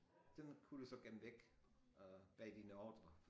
Den kunne du så gemme væk øh bag dine ordrer